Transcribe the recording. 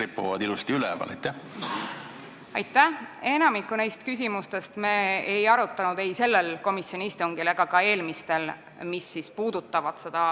Enamikku neist ränderaamistikku puudutavatest küsimustest me ei arutanud ei sellel komisjoni istungil ega ka eelmistel.